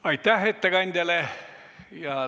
Aitäh ettekandjale!